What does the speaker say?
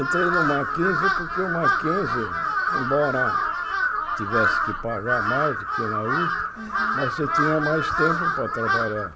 Entrei no Mackenzie porque o Mackenzie, embora tivesse que pagar mais do que na Usp Uhum, mas você tinha mais tempo para trabalhar.